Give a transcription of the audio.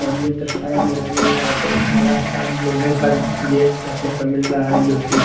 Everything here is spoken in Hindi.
मंदिर के साइड में हमें यहां पे एक बड़ा सा लोहे का गेट देखने को मिल रहा है जो कि--